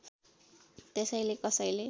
त्यसैले कसैले